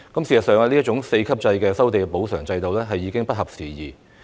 事實上，這種4級制收地補償制度已不合時宜。